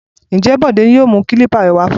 Ǹjẹ́ Bọ̀dé yóò mú kílípà rẹ wá fún ọ?